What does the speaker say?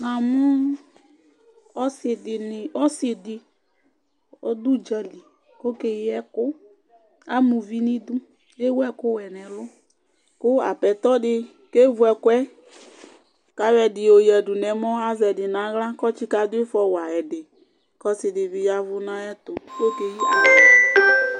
Namʊ ɔsɩ dɩ ɔdʊ ʊdzalɩ okeyɩ ɛkʊ Amʊvɩ nɩdʊ kewʊ ɛkʊ wɛ nɛlʊ, kʊ aƒetɔ dɩ kevʊ ɛkʊɛ, kayɔ ɛdɩ yɔyadʊ nɛmɔ kazɛ dɩ nawla kɔtɩka dɩfɔ ya ɛdɩbkɔsɩ dɩb8 yavʊ naƴɛtʊ kokeyɩvawʊ